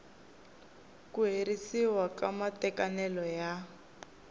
ku herisiwa ka matekanelo ya